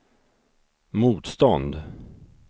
motstånd